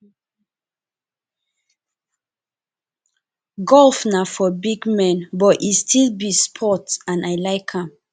golf na for big men but e still be sport and i like am